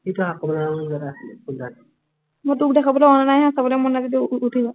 মই তোক দেখাবলৈ অনা নাই নহয়, চাবলে মন নাই যদি উঠি যা।